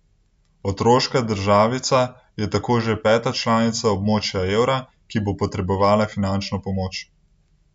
Otoška državica je tako že peta članica območja evra, ki bo potrebovala finančno pomoč.